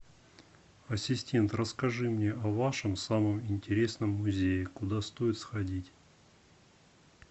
ассистент расскажи мне о вашем самом интересном музее куда стоит сходить